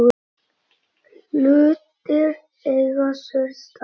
Hlutir eiga sér stað.